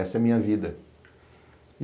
Essa é a minha vida.